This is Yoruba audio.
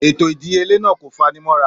Ètò ìdíyelé náà kò fanimọ́ra.